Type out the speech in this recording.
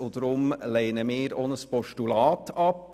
Deshalb lehnen wir auch ein Postulat ab.